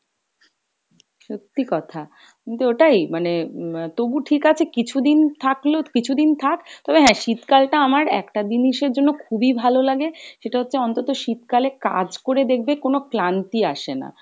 সত্যি কথা কিন্তু ওটায় মানে আহ তবু ঠিক আছে কিছুদিন থাকলো কিছুদিন থাক, তবে হ্যাঁ শীতকাল টা আমার একটা জিনিসের জন্য খুবই ভালো লাগে সেটা হচ্ছে অন্তত শীতকালে কাজ করে দেখবে কোনো ক্লান্তি আসে না,